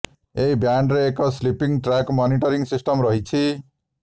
ଏହି ବ୍ୟାଣ୍ଡରେ ଏକ ସ୍ଲିପିଂ ଟ୍ରାକ୍ ମନିଟରିଂ ସିଷ୍ଟମ୍ ମଧ୍ୟ ରହିଛି